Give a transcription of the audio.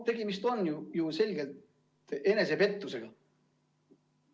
Tegemist on ju selgelt enesepettusega.